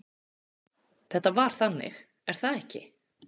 Þetta var þannig, er það ekki?